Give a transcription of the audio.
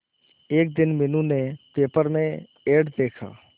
एक दिन मीनू ने पेपर में एड देखा